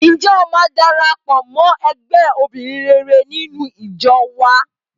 Ǹjẹ́ o máa darapọ̀ mọ́ ẹgbẹ́ obìnrin rere nínú ìjọ wá?